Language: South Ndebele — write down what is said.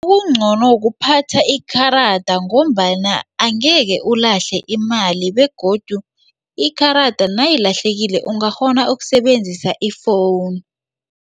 Okungcono kuphatha ikarada ngombana angekhe ulahle imali begodu ikarada nayilahlekileko ungakghona ukusebenzisa i-phone.